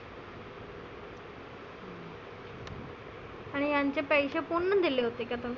आणि यांचे पैसे कोणनं दिले होते ग?